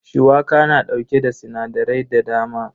Shuwaka na dauke da sinadarai da dama.